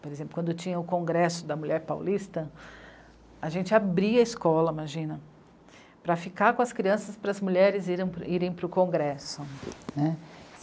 Por exemplo, quando tinha o congresso da mulher paulista, a gente abria a escola, imagina, para ficar com as crianças para as mulheres irem, irem para o congresso, né.